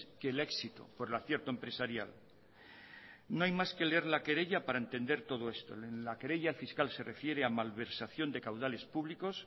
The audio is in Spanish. que el éxito por el acierto empresarial no hay más que leer la querella para entender todo esto en la querella el fiscal se refiere a malversación de caudales públicos